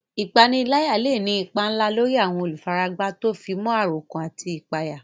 Ìpániláyà lè ní ipa ńlá lórí àwọn olùfaragbá tó fi mọ́ àròkán àti ìpayà.